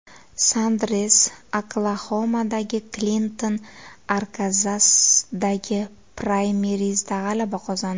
Sanders Oklaxomadagi, Klinton Arkanzasdagi praymerizda g‘alaba qozondi .